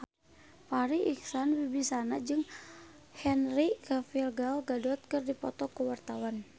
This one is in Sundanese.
Farri Icksan Wibisana jeung Henry Cavill Gal Gadot keur dipoto ku wartawan